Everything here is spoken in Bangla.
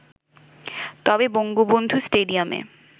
তবে বঙ্গবন্ধু স্টেডিয়ামে